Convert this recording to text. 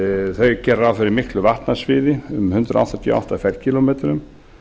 þau gera ráð fyrir miklu vatnasviði um hundrað áttatíu og átta fer kílómetrum